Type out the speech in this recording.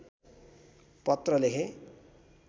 पत्र लेखे